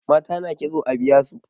mata na kitso a biya su